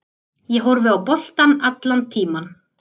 Ég horfi á boltann allan tímann.